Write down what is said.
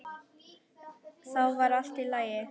Þá var allt í lagi.